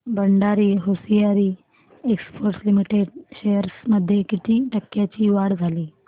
Bhandari hosiery exports limited shares मध्ये किती टक्क्यांची वाढ झाली